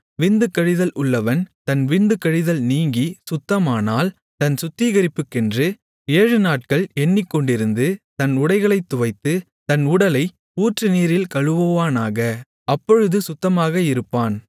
விந்து கழிதல் உள்ளவன் தன் விந்து கழிதல் நீங்கிச் சுத்தமானால் தன் சுத்திகரிப்புக்கென்று ஏழுநாட்கள் எண்ணிக்கொண்டிருந்து தன் உடைகளைத் துவைத்து தன் உடலை ஊற்றுநீரில் கழுவுவானாக அப்பொழுது சுத்தமாக இருப்பான்